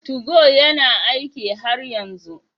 Tugo yana aiki har yanzu?